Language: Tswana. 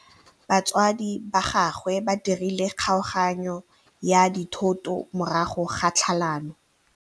Batsadi ba gagwe ba dirile kgaoganyô ya dithoto morago ga tlhalanô.